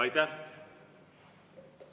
Aitäh!